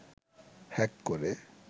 hack করে